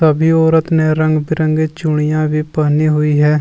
सभी औरत ने रंग बिरंगी चूड़ियां भी पहनी हुई है।